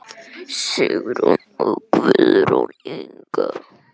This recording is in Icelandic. Sigrún og Guðrún Inga.